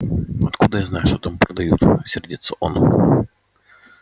откуда я знаю что там продают сердится он